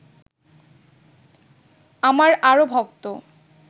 আমার আরও ভক্ত